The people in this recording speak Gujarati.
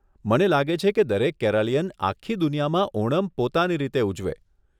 મને લાગે છે કે દરેક કેરાલીયન આખી દુનિયામાં ઓનમ પોતાની રીતે ઉજવે